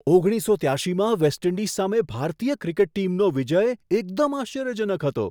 ઓગણીસસો ત્યાશીમાં West Indies સામે ભારતીય ક્રિકેટ ટીમનો વિજય એકદમ આશ્ચર્યજનક હતો!